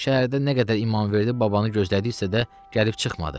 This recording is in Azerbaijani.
Şəhərdə nə qədər İmamverdibabanı gözlədiksə də, gəlib çıxmadı.